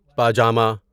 پاجامہ